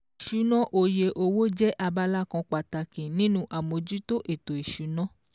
Ìṣúná oye owó jẹ́ abala kan pàtàkì nínú àmójútó ètò ìsúná